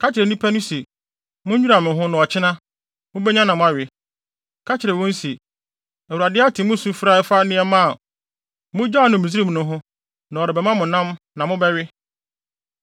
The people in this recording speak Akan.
“Ka kyerɛ nnipa no se: Munnwira mo ho na ɔkyena, mubenya nam awe. Ka kyerɛ wɔn se, ‘ Awurade ate mo sufrɛ a ɛfa nneɛma a mugyaw no Misraim no ho na ɔrebɛma mo nam na mobɛwe.